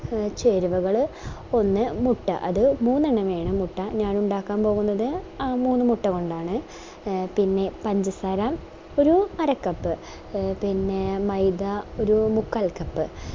ചേരുവകള് ഒന്ന് മുട്ട അത് മൂന്നെണ്ണം വേണം മുട്ട ഞാനിണ്ടാക്കാൻ പോകുന്നത് മൂന്ന് മുട്ട കൊണ്ടാണ് ആഹ് പിന്നെ പഞ്ചസാര ഒരു അര cup ആഹ് പിന്നെ മൈദ ഒരു മുക്കാൽ cup